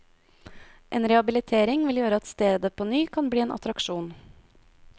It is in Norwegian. En rehabilitering vil gjøre at stedet på ny kan bli en attraksjon.